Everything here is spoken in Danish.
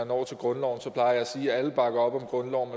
når til grundloven at sige at alle bakker op om grundloven